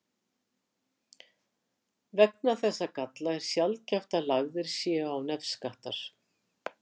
Vegna þessa galla er sjaldgæft að lagðir séu á nefskattar.